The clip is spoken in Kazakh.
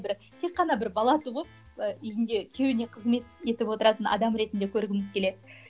бір тек қана бір бала туып ыыы үйінде күйеуіне қызмет етіп отыратын адам ретінде көргіміз келеді